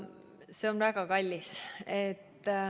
See on väga kallis.